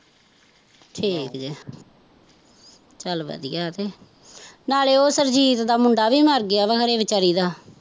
ਠੀਕ ਜੇ ਚੱਲ ਵਧੀਆ ਤੇ, ਨਾਲੇ ਉਹ ਸੁਰਜੀਤ ਦਾ ਮੁੰਡਾ ਵੀ ਮਰ ਗਿਆ ਵਾਂ ਵੀਚਾਰੀ ਦਾ